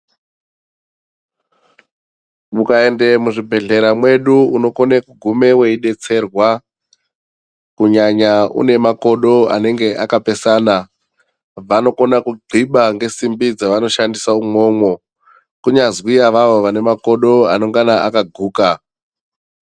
Mukaenda muzvibhedhlera mwedu unokona kuguma weidetserwa kunyanya une makodo anobviba simbi dzavanoshandisa imomo kunyazwi ivavo vane makodo anenge akaguka.